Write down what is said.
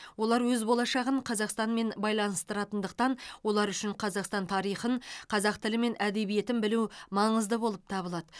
олар өз болашағын қазақстанмен байланыстыратындықтан олар үшін қазақстан тарихын қазақ тілі мен әдебиетін білу маңызды болып табылады